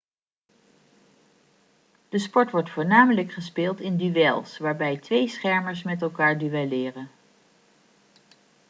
de sport wordt voornamelijk gespeeld in duels waarbij twee schermers met elkaar duelleren